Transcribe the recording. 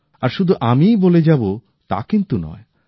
আর শুধু আমিই বলে যাবো তা কিন্তু নয়